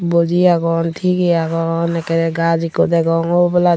boji agon tigey agon ekkeye gaj ikko degong oboladi.